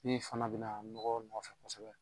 Min fana bɛ na nɔgɔ nɔfɛ